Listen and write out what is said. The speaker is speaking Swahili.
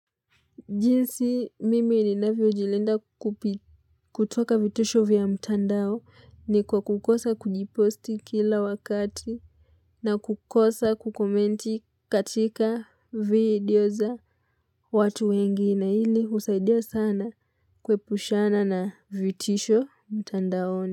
Jinsi mimi ninavyo jilinda kutoka vitisho vya mtandao ni kwa kukosa kujiposti kila wakati na kukosa kukomenti katika video za watu wengi na hili husaidia sana kuepushana na vitisho mtandaoni.